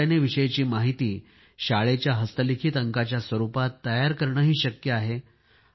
त्या घटनेविषयीची माहिती शाळेच्या हस्तलिखित अंकाच्या रूपामध्ये तयार करणे शक्य आहे